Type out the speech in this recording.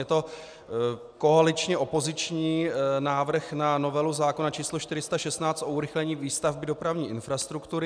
Je to koaličně-opoziční návrh na novelu zákona číslo 416 o urychlení výstavby dopravní infrastruktury.